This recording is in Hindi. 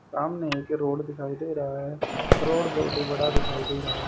सामने एक रोड दिखाई दे रहा है रोड बहुत ही बड़ा दिखाई दे रहा--